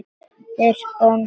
Þeir góndu á móti.